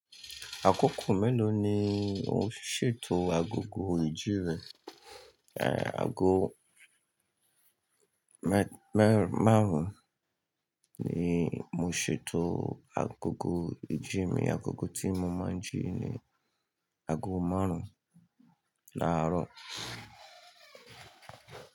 Àkókò mélòó ni o ṣètò agogo ìjí rẹ? Ago mẹ-márùn-ún ni mo ṣètò agogo ìjí mi. Agogo tí mo máa ń jí ni ago márùn-ún láàárọ̀.